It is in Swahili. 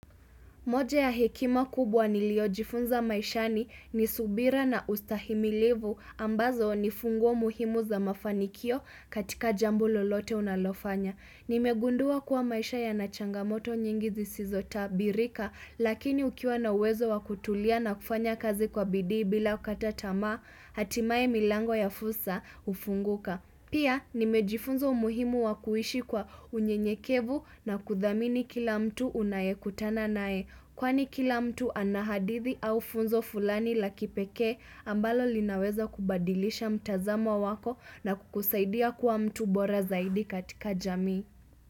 Moja ya hekima kubwa niliojifunza maishani ni subira na ustahimilivu ambazo ni funguo muhimu za mafanikio katika jambo lolote unalofanya. Nimegundua kuwa maisha yana changamoto nyingi zisizo tabirika lakini ukiwa na wezo wakutulia na kufanya kazi kwa bidi bila kukata tamaa hatimae milango ya fursa hufunguka. Pia nimejifunza umuhimu wa kuishi kwa unyenyekevu na kuthamini kila mtu unayekutana nae. Kwani kila mtu anahadithi au funzo fulani la kipeke ambalo linaweza kubadilisha mtazamo wako na kukusaidia kuwa mtu bora zaidi katika jami.